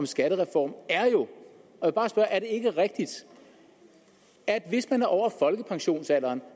skattereform er det ikke rigtigt at hvis man er over folkepensionsalderen